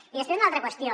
i després una altra qüestió